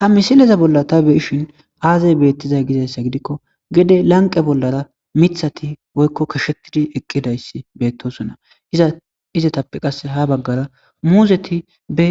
ha misileza bolla ta beyishin aazay beettizay gizayssa gidikko gede lanqe bollara mithati woykko kashetidi eqqidayssi beettosona iza izetappe qasse ha baggara muuzeti be